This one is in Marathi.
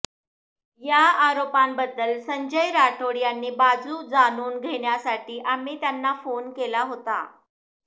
या आरोपांबद्दल संजय राठोड यांची बाजू जाणून घेण्यासाठी आम्ही त्यांना फोन केला होता